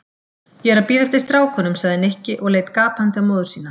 Ég er að bíða eftir strákunum sagði Nikki og leit gapandi á móður sína.